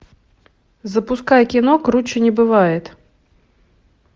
запускай кино круче не бывает